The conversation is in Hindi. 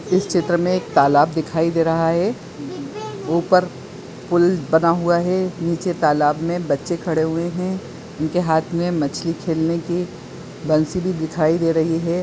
इस चित्र में एक तालाब दिखाई दे रहा है ऊपर पुल बना हुआ है नीचे तालाब में बच्चे खड़े हुए है उनके हाथ में मछली खेलने की बंसी भी दिखाई दे रही है।